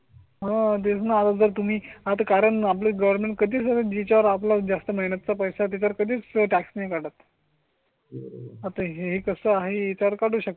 म्हणा जर तुम्ही आता कारण आपलं गवर्नमेंट कधी जिच्या वर आपला जास्त महिन्या चा पैसा ते तर कधीच टॅक्सी काढत. आता हे कसं आहे इतर काढू शकते